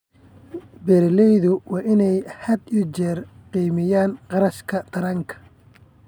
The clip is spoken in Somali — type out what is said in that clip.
Beeralaydu waa inay had iyo jeer qiimeeyaan kharashka taranka.